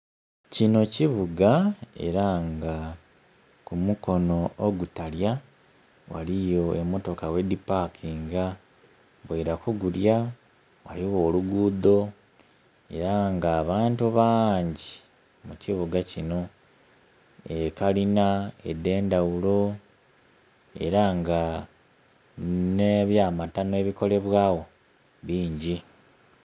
Kinho kibuga era nga ku mukono ogutalya ghaliyo emotoka ghedhipakinga, ghoila ku gulya ghaligho olugudho era nga abantu bangi mu kibuga kinho, ekalina edh'endhaghulo era nga nh'ebyamatano ebikolebwagho bingi.